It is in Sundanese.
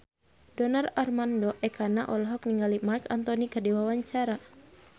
Donar Armando Ekana olohok ningali Marc Anthony keur diwawancara